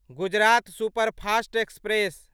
Gujarat superfast express